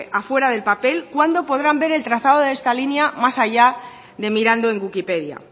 a fuera del papel cuándo podrán ver el trazado de esta línea más allá de mirando en wikipedia